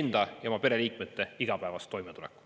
enda ja oma pereliikmete igapäevast toimetulekut.